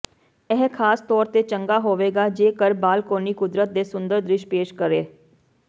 ਇਹ ਖਾਸ ਤੌਰ ਤੇ ਚੰਗਾ ਹੋਵੇਗਾ ਜੇਕਰ ਬਾਲਕੋਨੀ ਕੁਦਰਤ ਦੇ ਸੁੰਦਰ ਦ੍ਰਿਸ਼ ਪੇਸ਼ ਕਰੇ